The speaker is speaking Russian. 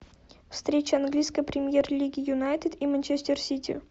встреча английской премьер лиги юнайтед и манчестер сити